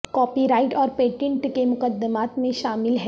copy right اور patent کے مقدمات میں شامل ہیں